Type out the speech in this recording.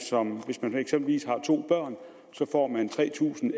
hvis man eksempelvis har to børn får tre tusind